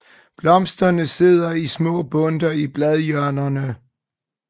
Blomsterne sidder i små bundter i bladhjørnerne